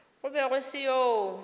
go be go se yoo